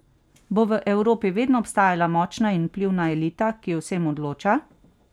Bo v Evropi vedno obstajala močna in vplivna elita, ki o vsem odloča?